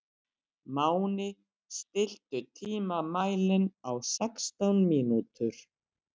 Máni, stilltu tímamælinn á sextán mínútur.